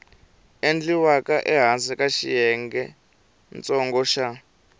endliwaka ehansi ka xiyengentsongo xa